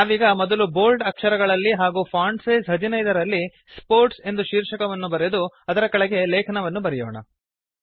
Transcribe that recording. ನಾವೀಗ ಮೊದಲು ಬೋಲ್ಡ್ ಅಕ್ಷರಗಳಲ್ಲಿ ಹಾಗೂ ಫಾಂಟ್ ಸೈಜ್ 15 ರಲ್ಲಿ ಸ್ಪೋರ್ಟ್ಸ್ ಎಂದು ಶೀರ್ಷಕವನ್ನು ಬರೆದು ಅದರ ಕೆಳಗೆ ಲೇಖನವನ್ನು ಬರೆಯೋಣ